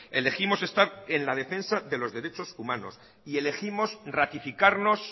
elegimos estar en la defensa de los derechos humanos y elegimos ratificarnos